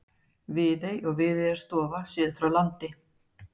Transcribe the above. Viðey og Viðeyjarstofa séð frá landi.